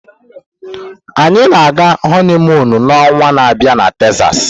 Anyị na-aga honiimuunu na onwa na abịa na Texas.